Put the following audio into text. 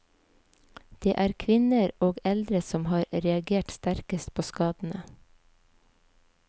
Det er kvinner og og eldre som har reagert sterkest på skadene.